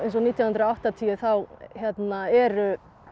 nítján hundruð og áttatíu þá eru